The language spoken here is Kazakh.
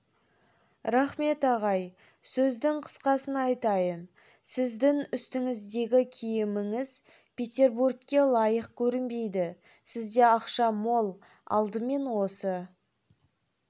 рахмет ағай сөздің қысқасын айтайын сіздің үстіңіздегі киіміңіз петербургке лайық көрінбейді сізде ақша мол алдымен осы